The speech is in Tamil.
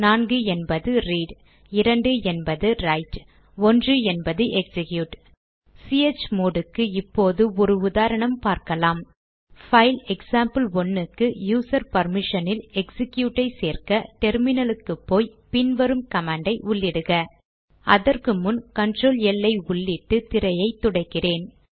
4 என்பது ரீட் 2 என்பது ரைட் 1 என்பது எக்சிக்யூட் சிஹெச்மோட் க்கு இப்போது ஒரு உதாரணம் பார்க்கலாம் பைல் எக்சாம்பிள்1 க்கு யூசர் பர்மிஷனில் எக்சிக்யூட் ஐ சேர்க்க டெர்மினல் க்கு போய் பின் வரும் கமாண்ட் ஐ உள்ளிடுக அதற்கு முன் கண்ட்ரோல் எல் ஐ உள்ளிட்டு திரையை துடைக்கிறேன்